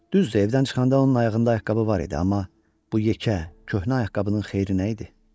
Düz evdən çıxanda onun ayağında ayaqqabı var idi, amma bu yekə, köhnə ayaqqabının xeyri nə idi?